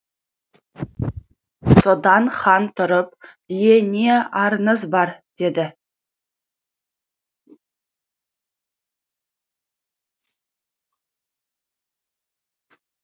содан хан тұрып ие не арызың бар дейді